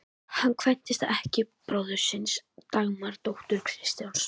Hann kvæntist ekkju bróður síns, Dagmar, dóttur Kristjáns